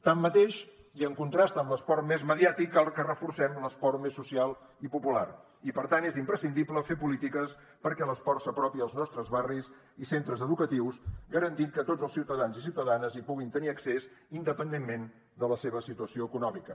tanmateix i en contrast amb l’esport més mediàtic cal que reforcem l’esport més social i popular i per tant és imprescindible fer polítiques perquè l’esport s’apropi als nostres barris i centres educatius i garantir que tots els ciutadans i ciutadanes hi puguin tenir accés independentment de la seva situació econòmica